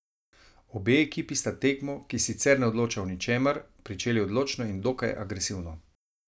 Obe ekipi sta tekmo, ki sicer ne odloča o ničemer, pričeli odločno in dokaj agresivno.